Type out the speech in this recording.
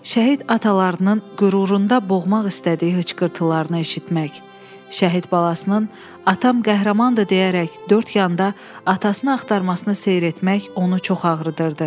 Şəhid atalarının qürurunda boğmaq istədiyi hıçqırtılarını eşitmək, şəhid balasının atam qəhrəmandır deyərək dörd yanda atasını axtarmasını seyr etmək onu çox ağrıdırdı.